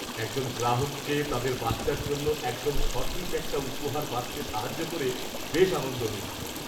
একজন গ্রাহককে তাদের বাচ্চার জন্য একদম সঠিক একটা উপহার বাছতে সাহায্য করে বেশ আনন্দ হয়েছিল।